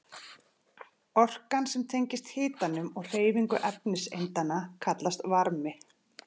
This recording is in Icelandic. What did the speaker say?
Orkan sem tengist hitanum og hreyfingu efniseindanna kallast varmi.